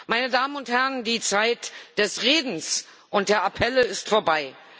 Meine Damen und Herren, die Zeit des Redens und der Appelle ist vorbei!